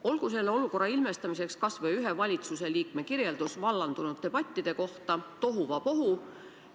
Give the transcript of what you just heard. Olgu selle olukorra ilmestamiseks kas või valitsuse ühe liikme hinnang vallandunud debattidele: tohuvabohu.